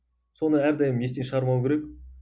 соны әрдайым естен шығармау керек